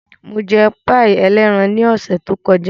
Mo jẹ páì ẹlẹ́ran ní ọ̀sẹ̀ tó kọjá.